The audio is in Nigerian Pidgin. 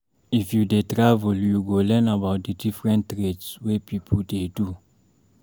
If you dey travel, you go learn about di different trades wey pipo dey do.